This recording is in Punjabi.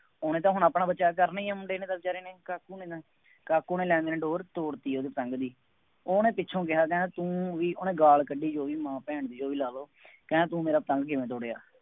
ਉਹਨੇ ਤਾਂ ਹੁਣ ਆਪਣਾ ਬਚਾਅ ਕਰਨਾ ਹੀ ਹੈ ਮੁੰਡੇ ਨੇ ਤਾਂ ਬੇਚਾਰੇ ਨੇ ਤਾਂ ਕਾਕੂ ਨੇ ਡੋਰ ਤੋੜ ਦਿੱਤੀ ਉਹਦੀ ਪਤੰਗ ਦੀ, ਉਹਨੇ ਪਿੱਛੋ ਕਿਹਾ ਕਹਿੰਦਾ ਤੂੰ ਬਈ ਉਹਨੇ ਗਾਲ ਕੱਢੀ ਉਹਦੀ ਮਾਂ ਭੈਣ ਦੀ ਤੁਸੀਂ ਲਾ ਲਉ, ਕਹਿੰਦਾ ਤੂੰ ਮੇਰਾ ਪਤੰਗ ਕਿਉਂ ਤੋੜਿਆ।